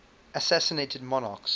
assassinated monarchs